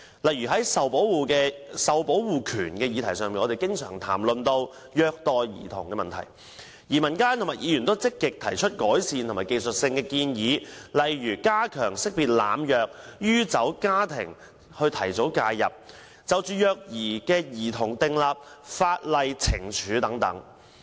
例如，在受保護權這個議題上，我們經常談到虐待兒童的問題，民間和議員都積極提出改善的技術性建議，例如加強識別濫藥或酗酒家庭，從而提早介入，以及就虐待兒童訂立法例懲處等。